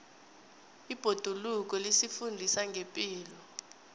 ibhoduluko lisifundisa ngepilo